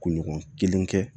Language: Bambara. Kunɲɔgɔn kelen kɛ